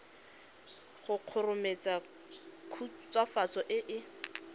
go kgomaretsa khutswafatso e e